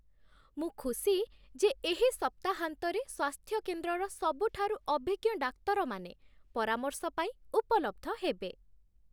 ମୁଁ ଖୁସି ଯେ ଏହି ସପ୍ତାହାନ୍ତରେ ସ୍ୱାସ୍ଥ୍ୟକେନ୍ଦ୍ରର ସବୁଠାରୁ ଅଭିଜ୍ଞ ଡାକ୍ତରମାନେ ପରାମର୍ଶ ପାଇଁ ଉପଲବ୍ଧ ହେବେ।